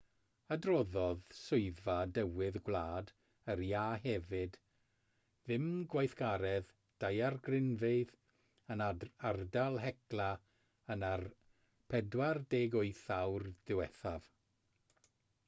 adroddodd swyddfa dywydd gwlad yr iâ hefyd ddim gweithgaredd daeargrynfeydd yn ardal hekla yn y 48 awr ddiwethaf